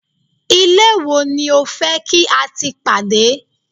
ilé wo ni o fe ki a ti pade